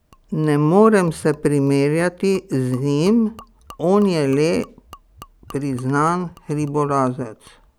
Ne morem se primerjati z njim, on je le priznan hribolazec.